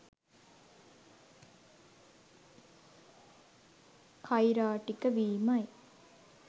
කෛරාටික වීමයි.